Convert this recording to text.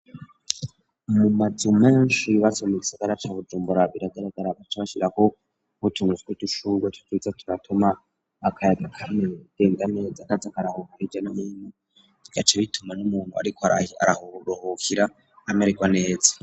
Umumazu menshi bbasoma igisagara ca bujumbura biragaragara abaco bashirako butumuzwi iducurwa to kiza tunatuma akayaga kame renganeza akazi akarahukuhija n'myina igace bituma n'umuntu, ariko arahuruhukira ameriko neza.